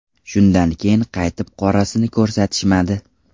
Shundan keyin qaytib qorasini ko‘rsatishmadi.